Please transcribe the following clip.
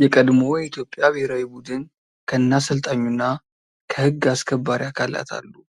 የቀድሞ የኢትዮጵያ ብሔራዊ ቡድን ከነ አሰልጣኙ እና ከ ሕግ አስከባሪ አካላት አሉ ፤